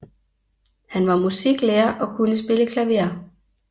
Han var musiklærer og kunne spille klaver